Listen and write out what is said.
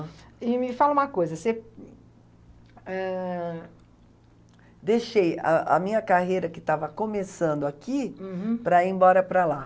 E me fala uma coisa, você, ãh... Deixei ãh a minha carreira que estava começando aqui para ir embora para lá.